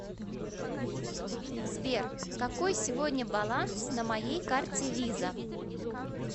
сбер какой сегодня баланс на моей карте виза